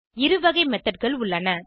இரு வகை methodகள் உள்ளன